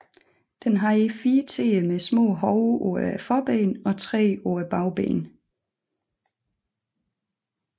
Den havde fire tæer med små hove på forbenene og tre på bagbenene